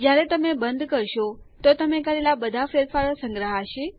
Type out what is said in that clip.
જ્યારે તમે બંધ કરશો તો તમે કરેલા બધા ફેરફારો સંગ્રહાશે